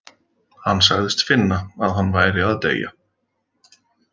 Hann sagðist finna að hann væri að deyja.